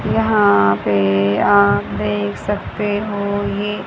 यहां पे आप देख सकते हो ये--